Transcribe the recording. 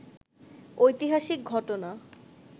ঐতিহাসিক ঘটনা